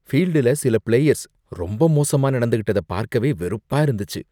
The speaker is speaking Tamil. ஃபீல்டுல சில பிளேயர்ஸ் ரொம்ப மோசமா நடந்துக்கிட்டத பார்க்கவே வெறுப்பா இருந்தச்சு.